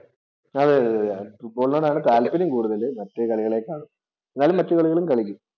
അതെ, അതെ ഫുട്ബോളിനോടാണ് താല്പര്യം കൂടുതല് മറ്റു കളികളേക്കാള്‍ എന്നാലും മറ്റു കളികളും കളിക്കും.